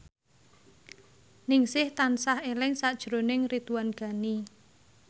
Ningsih tansah eling sakjroning Ridwan Ghani